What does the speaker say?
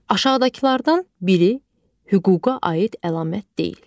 Aşağıdakılardan biri hüquqa aid əlamət deyil.